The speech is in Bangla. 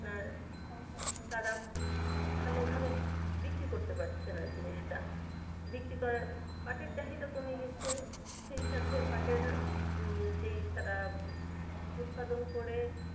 আর তারা ভালো ভাবে বিক্রি করতে পারছে না জিনিসটা বিক্রি করার পাঠের চাহিদা কমে গেছে সেই সাথে পাঠের যেই যারা উদপাদন করে আর তারা ভালো ভাবে বিক্রি করতে পারছে না সেই জিনিসটার